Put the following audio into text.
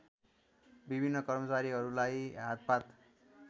विभिन्न कर्मचारीहरूलाई हातपात